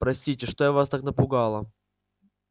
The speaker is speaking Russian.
простите что я вас так напугала